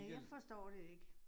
Ja, jeg forstår det ikke